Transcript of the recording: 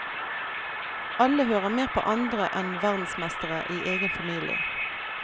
Alle hører mer på andre enn verdensmestere i egen familie.